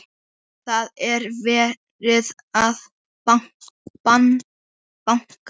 Það er verið að banka!